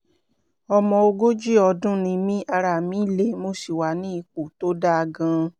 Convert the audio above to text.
ọmọ ogójì ọdún ni mí ara mi le mo sì wà ní ipò tó dáa gan-an